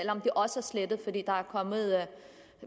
om det også er slettet fordi